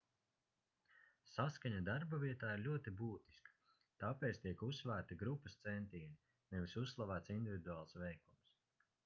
saskaņa darbavietā ir ļoti būtiska tāpēc tiek uzsvērti grupas centieni nevis uzslavēts individuāls veikums